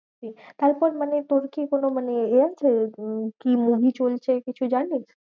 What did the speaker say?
তারপর মানে তোর কি কোনো মানে এ আছে উম কি movie চলছে কিছু জানিস্?